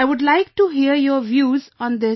I would like to hear your views on this